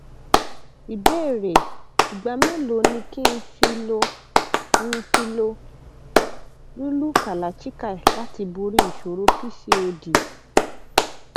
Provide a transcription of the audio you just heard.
ìbéèrè ìgbà mélòó ni kí n fi lo n fi lo lúlú kalachikai láti borí ìṣòro pcod